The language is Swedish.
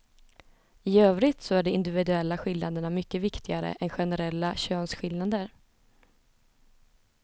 I övrigt så är de individuella skillnaderna mycket viktigare än generella könsskillnader.